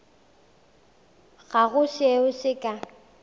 ga go seo se ka